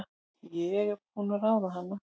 Ég er búin að ráða hana!